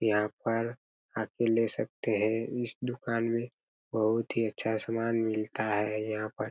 यहाँ पर आप भी ले सकते है इस दुकान में बहुत ही अच्छा सामान मिलता है यहाँ पर--